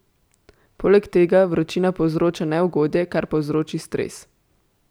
Poleg tega vročina povzroča neugodje, kar povzroči stres.